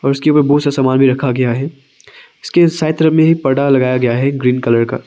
जिसके ऊपर बहुत सा सामान भी रखा गया है इसके साइड तरफ में पर्दा लगाया गया है एक ग्रीन कलर का।